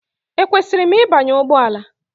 Ekwesịrị m ịbanye ụgbọ ala?